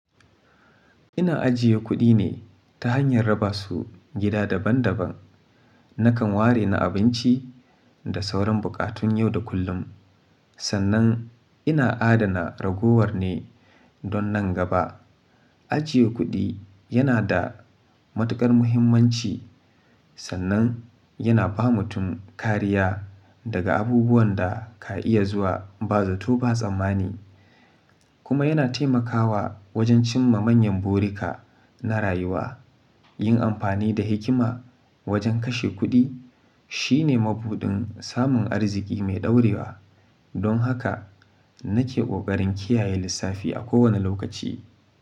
Ina ajiye kuɗi ne ta hanyar raba su gida daban daban. Nakan ware na abinci da sauran buƙatun yau da kullum. Sannan ina adana ragowar ne don nan gaba. Ajiye kuɗi yana da matuƙar muhimmanci, sannan yana ba mutum kariya daga abubuwan da ka iya zuwa ba zato ba tsammani, kuma yana taimakawa wajen cimma manyan burika na rayuwa. Yin amfani da hikima wajen kashe kuɗi shine mabuɗin samun arziki mai ɗorewa. Don haka nake ƙoƙarin kiyaye lissafi a kowane lokaci.